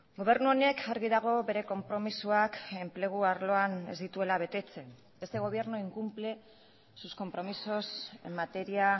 gobernu honek argi dago bere konpromisoak enplegu arloan ez dituela betetzen este gobierno incumple sus compromisos en materia